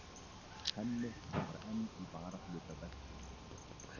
Hemmi starfar enn í varahlutaversluninni.